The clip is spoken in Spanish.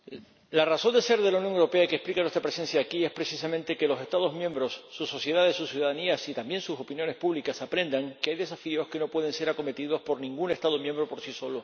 La razón de ser de la Unión Europea y que explica nuestra presencia aquí es precisamente que los Estados miembros, sus sociedades, sus ciudadanías y también sus opiniones públicas aprendan que hay desafíos que no pueden ser acometidos por ningún Estado miembro por sí solo